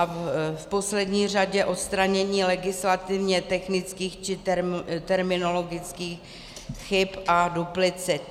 A v poslední řadě odstranění legislativně technických či terminologických chyb a duplicit.